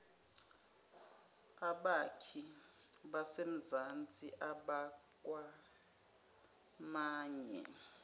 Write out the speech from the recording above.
abakhi basemzansi abakwamanye